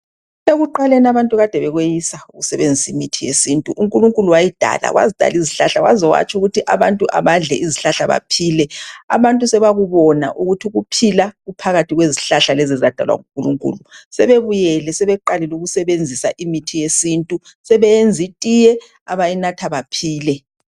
Ekuqaleni abantu kade bekweyisa ukusebenzisa imithi yesintu. Unkulunkulu wayidala, wazidala izihlahla waze watsho ukuthi abantu abadle izihlahla baphile. Abantu sebakubona ukuthi ukuphila kuphakathi kwezihlahla lezi ezadalwa ngunkulunkulu. Sebebuyele, sebeqalile ukusebenzisa imithi yesintu, sebeyenza itiye, abayinatha, baphile.